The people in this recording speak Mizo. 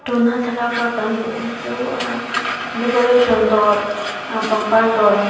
tuna thlalak a kan hmuh hi chu ahh decorating dawr ahh pangpar dawr ang kha.